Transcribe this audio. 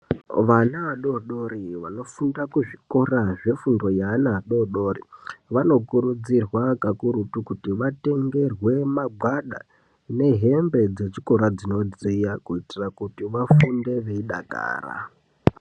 Vana adodori vanofunda kuzvikora zvefundo yeana adodori. Vanokurudzirwa kakurutu kuti vatengerwe magwada nehembe dzechikora dzinodziya kuitira kuti vafunde veidakara.